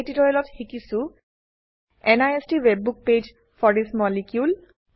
এই টিউটোৰিয়েলত শিকিছো NIST WebBook page for this molecule